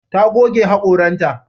Ta goge haƙoranta.